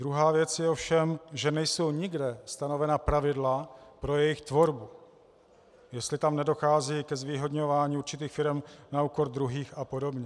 Druhá věc je ovšem, že nejsou nikde stanovena pravidla pro jejich tvorbu, jestli tam nedochází ke zvýhodňování určitých firem na úkor druhých a podobně.